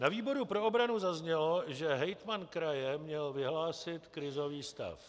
Na výboru pro obranu zaznělo, že hejtman kraje měl vyhlásit krizový stav.